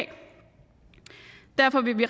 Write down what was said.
derfor vil vi